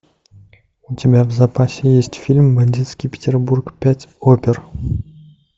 у тебя в запасе есть фильм бандитский петербург пять опер